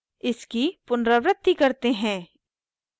इसकी पुनरावृत्ति करते है